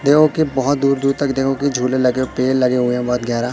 देखो के बोहोत दूर-दूर तक देखो के झूले लगे है पेड़ लगे हुए है बोहोत गेहरा --